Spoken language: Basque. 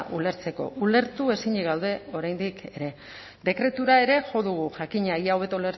ulertzeko ulertu ezinik gaude oraindik ere dekretura ere jo dugu jakina ia hobeto